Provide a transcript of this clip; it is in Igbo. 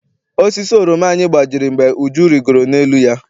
Osisi oroma anyị gbajiri mgbe Uju rigoro n'elu ya.